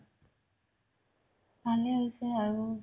ভালে হৈছে আৰু